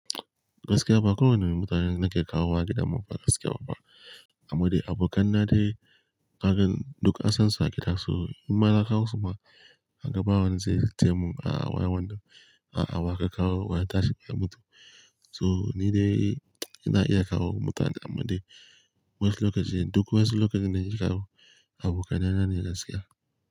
Gaskiya ba kowane mutanen nake kawo wa gidan mu ba gaskiya babba. Amma dai abokan na dai kagan duk an san su a gida so in ma na kawo su ma kaga bawa zan je mun a'a wayan wando a'a baka kawo waya tashi baya mutu. So ni dai ina iya kawo mutane amma dai wasu lokaci duk wasu lokacin nake kawo abokan na nane gaskiya.